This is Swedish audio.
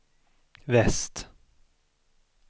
väst